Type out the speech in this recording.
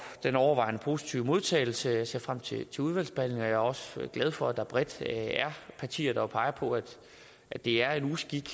den overvejende positive modtagelse jeg ser frem til til udvalgsbehandlingen og jeg er også glad for at der bredt er partier der peger på at det er en uskik at